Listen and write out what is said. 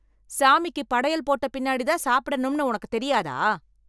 சாமிக்கு படையல் போட்ட பின்னாடி தான் சாப்பிடணும்ன்னு உனக்கு தெரியாதா?